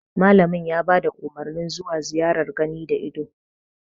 Malamin ya bada Umarnin zuwa ziyarar gani da ido